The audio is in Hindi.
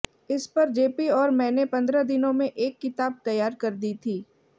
इस पर जेपी और मैने पंद्रह दिनों में एक किताब तैयार कर दी थी